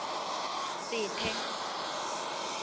sethe